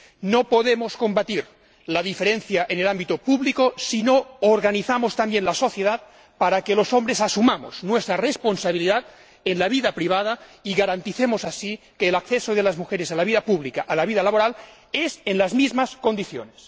No podemos combatir la diferencia en el ámbito público si no organizamos también la sociedad para que los hombres asumamos nuestra responsabilidad en la vida privada y garanticemos así que el acceso de las mujeres a la vida pública, a la vida laboral, se haga en las mismas condiciones.